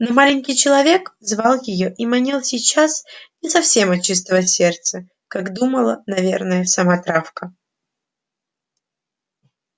но маленький человек звал её и манил сейчас не совсем от чистого сердца как думала наверное сама травка